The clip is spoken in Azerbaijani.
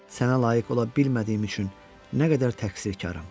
Sənə layiq ola bilmədiyim üçün nə qədər təqsirkaram.